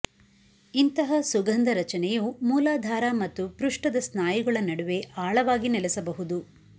ಇಂತಹ ಸುಗಂಧ ರಚನೆಯು ಮೂಲಾಧಾರ ಮತ್ತು ಪೃಷ್ಠದ ಸ್ನಾಯುಗಳ ನಡುವೆ ಆಳವಾಗಿ ನೆಲೆಸಬಹುದು